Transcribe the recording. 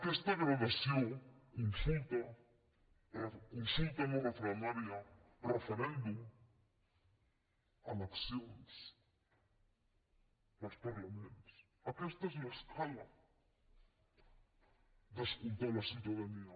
aquesta gradació consulta consulta no referendària referèndum eleccions als parlaments aquesta és l’escala per escoltar la ciutadania